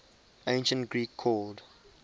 ancient greek called